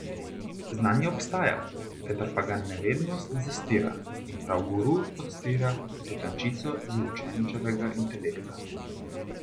Znanje obstaja, vendar pa ga nevednost zastira in prav guru odstira to tančico z učenčevega intelekta.